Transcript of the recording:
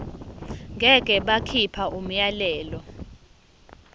ngeke bakhipha umyalelo